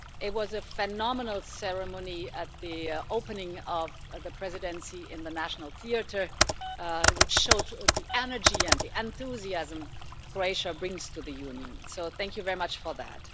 It was a phenomenal ceremony at the opening of the Presidency in the National Theatre, which showed the energy and the enthusiasm Croatia brings to the Union, so thank you very much for that.